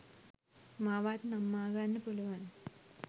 මාවත් නම්මාගන්න පුළුවන්